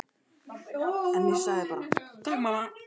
En ég sagði bara: Takk mamma.